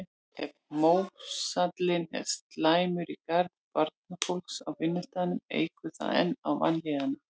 Ef mórallinn er slæmur í garð barnafólks á vinnustaðnum eykur það enn á vanlíðanina.